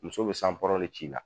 Muso be sanpɔrɔn de c'i la